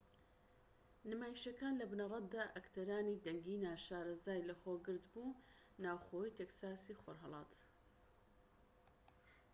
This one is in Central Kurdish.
نمایشەکان لە بنەڕەتدا ئەکتەرانی دەنگی ناشارەزای لەخۆ گرت بوو ناوخۆیی تێکساسی خۆرھەڵات